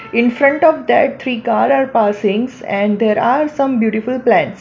In front of that three cars are passings and there are some beautiful plants.